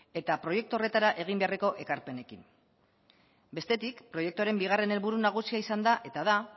eta proiektu horretara egin beharreko ekarpenekin bestetik proiektuaren bigarren helburu nagusia izan da eta da